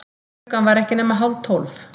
Klukkan var ekki nema hálftólf.